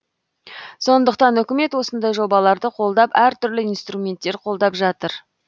сондықтан үкімет осындай жобаларды қолдап әр түрлі инстирументтермен қолдап жатыр